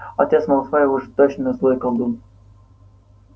отец малфоя уж точно злой колдун